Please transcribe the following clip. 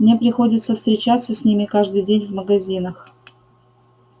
мне приходится встречаться с ними каждый день в магазинах